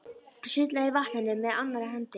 Sullaði í vatninu með annarri hendi.